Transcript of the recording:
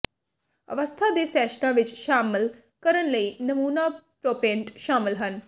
ਅਵਸਥਾ ਦੇ ਸੈਸ਼ਨਾਂ ਵਿਚ ਸ਼ਾਮਲ ਕਰਨ ਲਈ ਨਮੂਨਾ ਪ੍ਰੋਂਪਟ ਸ਼ਾਮਲ ਹਨ